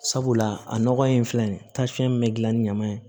Sabula a nɔgɔ in filɛ nin ye tansiyɔn min bɛ dilan ni ɲaman ye